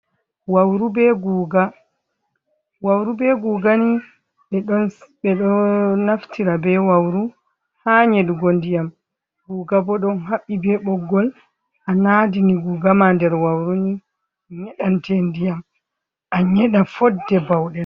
Wauru be guga, wawru be guga ni ɓedo naftira be wauru ha nyeɗugo ndiyam guga bo ɗon haɓɓi be ɓoggol anadini gugama ha nder wauruni nyeɗante ndiyam, an yeɗa fodde bauɗe.